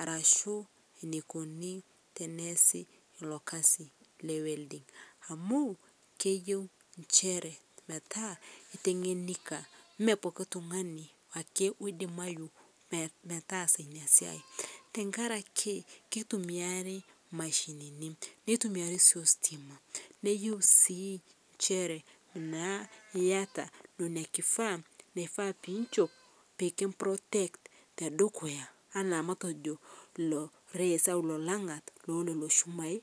arashu ashu enikoni teneesi ilo kasi le welding amu keyeu metaa iteng'enikia poki tungani ake oidimayu metaasa ina siai, tenkaraki kitumiyai imashinini, neyieu siinaa iyata nishop entoki nikiprotek arishie enkima elelo shumai.